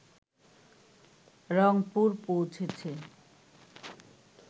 রংপুর পৌঁছেছে